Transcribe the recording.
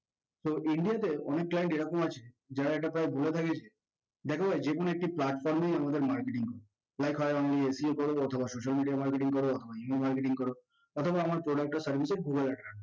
so indian দের অনেক client এরকম আছে যারা এটা প্রায় বলে থাকে যে দেখো যেকোনো একটি platform এ আমাদের marketing করো SEO করবো অথবা social media marketing করবো অথবা email marketing করবো অথবা আমার product এর service এর